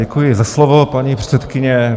Děkuji za slovo, paní předsedkyně.